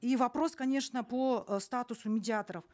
и вопрос конечно по э статусу медиаторов